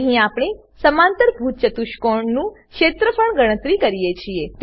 અહીં આપણે સમાંતરભુજ ચતુષ્કોણનું ક્ષેત્રફળ ગણતરી કરીએ છીએ